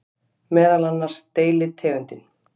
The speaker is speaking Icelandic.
Meðal annars deilitegundin